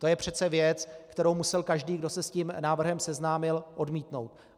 To je přece věc, kterou musel každý, kdo se s tím návrhem seznámil, odmítnout.